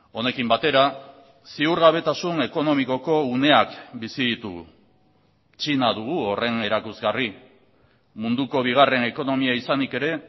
honekin batera ziurgabetasun ekonomikoko uneak bizi ditugu txina dugu horren erakusgarri munduko bigarren ekonomia izanik ere